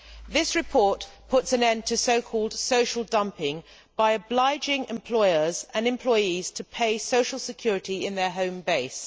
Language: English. This report puts an end to so called social dumping' by obliging employers and employees to pay social security in their home base.